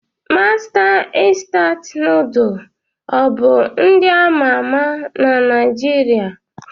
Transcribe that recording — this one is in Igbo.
Mastas Instant Nuduls ọ bụ nd ama ama na Naijiria?